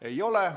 Ei ole.